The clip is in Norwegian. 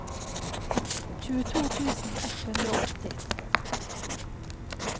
tjueto tusen ett hundre og åtti